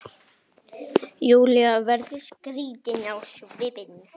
Júlía verður skrítin á svip.